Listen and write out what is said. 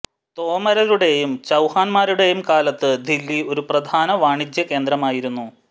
തോമരരുടേയും ചൌഹാന്മാരുടേയും കാലത്ത് ദില്ലി ഒരു പ്രധാന വാണിജ്യ കേന്ദ്രമായിരുന്നു